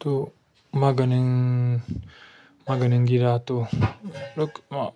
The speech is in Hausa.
To maganin, maganin gida to, look ma--